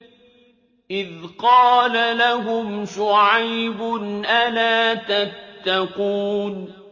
إِذْ قَالَ لَهُمْ شُعَيْبٌ أَلَا تَتَّقُونَ